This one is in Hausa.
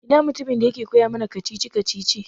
Ina mutumin da yake koya mana kacici-kacicici?